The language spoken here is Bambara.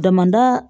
Damada